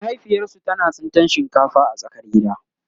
mahaifiyarsu tana tsintan shinkafa a tsakar gida